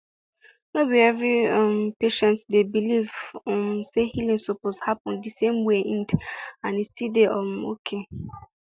no be every um patient dey believe um say healing suppose happen the same wayand e still dey um okay